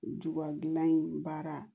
Juba gilan in baara